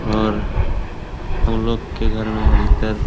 और हम लोग के घर में अधीकतर --